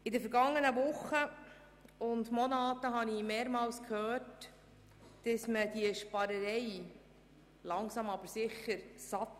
In den vergangenen Wochen und Monaten hörte ich mehrmals, man habe die «Sparerei» langsam aber sicher satt.